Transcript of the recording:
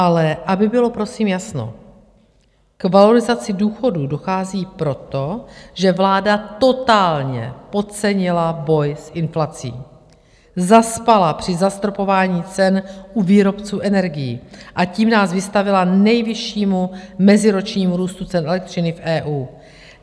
Ale aby bylo prosím jasno, k valorizaci důchodů dochází proto, že vláda totálně podcenila boj s inflací, zaspala při zastropování cen u výrobců energií a tím nás vystavila nejvyššímu meziročnímu růstu cen elektřiny v EU.